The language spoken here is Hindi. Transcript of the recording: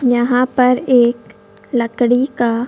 यहां पर एक लकड़ी का--